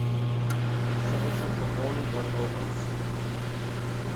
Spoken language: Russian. срочно пополни мой баланс